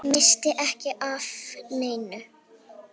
Missti ekki af neinu.